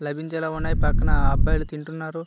లభించేలా ఉన్నాయి పక్కన అబ్బాయిలు తింటున్నారు.